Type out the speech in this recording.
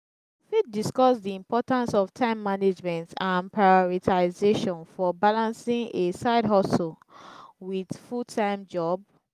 di importance of time management and prioritization for balancing a side-hustle with a full-time job.